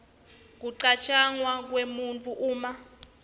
kucatjangwa kwebantfu uma